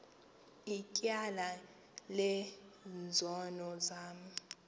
ityala lezono zam